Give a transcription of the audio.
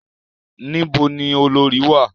Ní bo ni olorì wà?